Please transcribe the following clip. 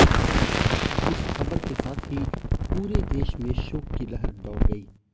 इस खबर के साथ ही पुरे देश में शोक की लहर दौड़ गई